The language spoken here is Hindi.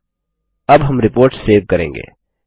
और अब हम रिपोर्ट सेव करेंगे